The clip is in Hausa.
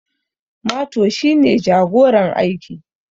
Mato shi ne jagoran aikin